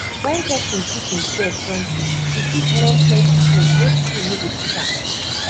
when pesin teach imsef something e fit learn plenty tin wey school no go teach am